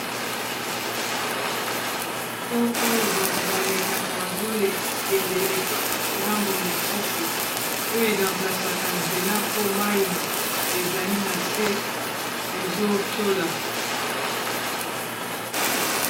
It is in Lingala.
po oyo bato balekaka bazo kende egambo mosusu oyo e ramplasaka nzela mpo mayi ezali na se ezo tchola.